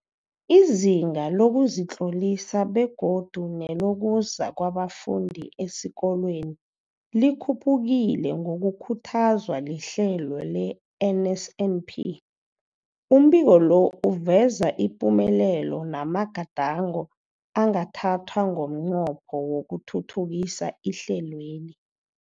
Izinga lokuzitlolisa begodu nelokuza kwabafundi esikolweni likhuphukile ngokukhuthazwa lihlelo le-NSNP. Umbiko lo uveza ipumelelo namagadango angathathwa ngomnqopho wokuthuthukisa ihlelweli.